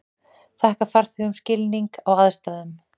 Þakka farþegum skilning á aðstæðum